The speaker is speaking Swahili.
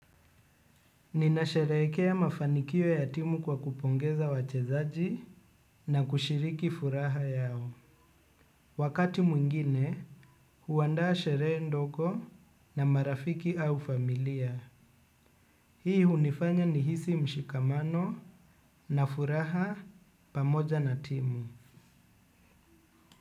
Ninasherehekea mafanikio ya timu kwa kupongeza wachezaji na kushiriki furaha yao. Wakati mwingine, huandaa sheree ndogo na marafiki au familia. Hii hunifanya nihisi mshikamano na furaha pamoja na timu.